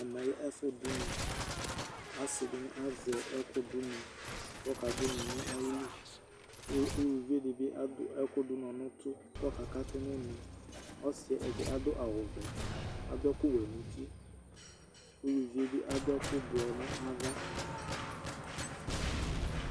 Ɛmɛ lɛ ɛfʋ dʋ ʋnɔAsɩ nɩ azɛ ɛkʋ dʋ ʋnɔ ,kʋ ɔka dʋ ʋnɔ nʋ ayiliUluvi dɩbɩ adʋ ɛkʋ dʋ ʋnɔ nʋtʋ kɔka katʋ nʋ ɔsɩɛ ɛdɩɛ adʋ awʋ vɛ, adʋ ɛkʋ wɛ nuti, ladʋ ɛkʋ blɔ nava